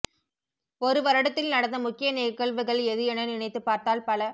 ஒரு வருடத்தில் நடந்த முக்கிய நிகழ்வுகள் எது என நினைத்துப் பார்த்தால் பல